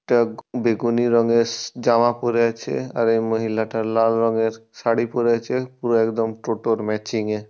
একটা বেগুনি রঙের জামা পরে আছে। আর এই মহিলা টা লাল রঙের শাড়ি পরে আছে পুরো একদম টোটোর ম্যাচিং -এ।